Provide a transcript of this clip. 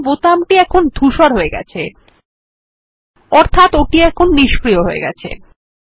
দেখুন বোতাম টি এখন ধুসর হয়ে গেছে অর্থাত এখন ওটি নিস্ক্রিয় হয়ে গেছে